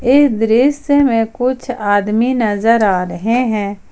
इस दृश्य में कुछ आदमी नजर आ रहे हैं।